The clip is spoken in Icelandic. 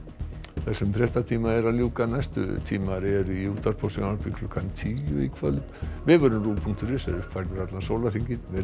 þessum fréttatíma er að ljúka næstu tímar eru í útvarpi og sjónvarpi klukkan tíu í kvöld vefurinn punktur is er uppfærður allan sólarhringinn verið